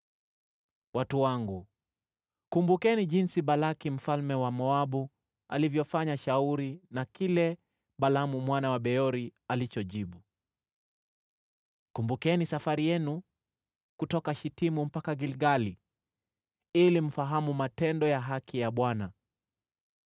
Watu wangu, kumbukeni jinsi Balaki mfalme wa Moabu alivyofanya shauri na kile Balaamu mwana wa Beori alichojibu. Kumbukeni safari yenu kutoka Shitimu mpaka Gilgali, ili mfahamu matendo ya haki ya Bwana .”